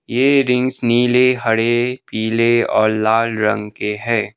ये रिंग्स नीले हरे पीले और लाल रंग के हैं।